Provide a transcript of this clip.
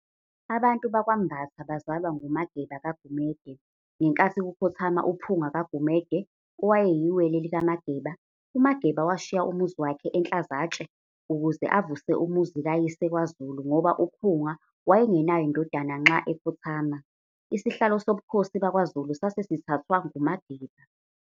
Abantu bakwaMbatha bazalwa nguMageba kaGumede. ngenkathi kukhothama uPhunga kaGumede, owayeyiWele likaMageba, uMageba washiya umuzi wakhe eNhlazatshe ukuze avuse umuzi kayise kwaZulu ngoba uPhunga waye ngenayo indodana nxa ekhothama. isihlalo sobikhosi bakwa Zulu sase sithathwa nguMageba.